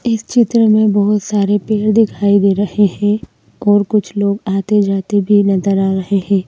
इस चित्र में बहुत सारे पेड़ दिखाई दे रहे हैं और कुछ लोग आते-जाते भी नदर आ रहे हैं।